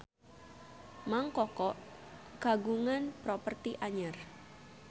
Mang Koko kagungan properti anyar